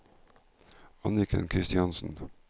Anniken Kristiansen